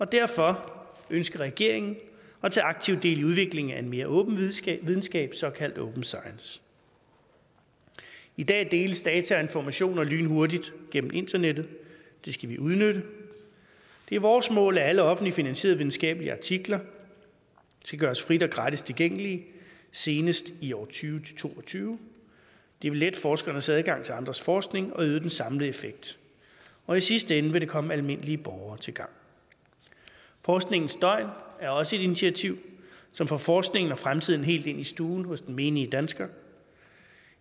derfor ønsker regeringen at tage aktivt del i udviklingen af en mere åben videnskab videnskab såkaldt open science i dag deles data og informationer lynhurtigt gennem internettet det skal vi udnytte det er vores mål at alle offentligt finansierede videnskabelige artikler skal gøres frit og gratis tilgængelige senest i tusind og tyve til to og tyve det vil lette forskernes adgang til andres forskning og øge den samlede effekt og i sidste ende vil det komme almindelige borgere til gavn forskningens døgn er også et initiativ som får forskningen og fremtiden helt ind i stuen hos den menige dansker